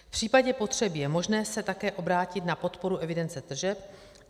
V případě potřeby je možné se také obrátit na podporu evidence tržeb.